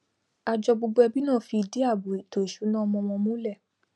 àjọ gbogbo ẹbí náà fi ìdí àbò èto ìsúná ọmọ wọn múlè